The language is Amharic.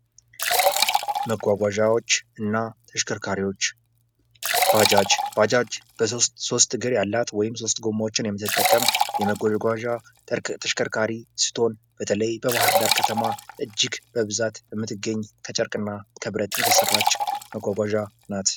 መጓጓዣዎችና ተሽከርካሪዎች ባጃጅ:- ባጃጅ ሦስት እግር ያላት ወይም ሦስት ጎማዎችን የምትጠቀም የመጓጓዣ ተሽከርካሪ ስትሆን በተለይ በባህርዳር እጅግ በብዛት የምትገኝ ከጨርቅ እና ከብረት የተሰራች መጓጓዣ ናት።